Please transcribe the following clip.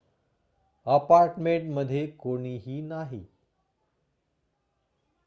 apartment मध्ये कोणीही नाही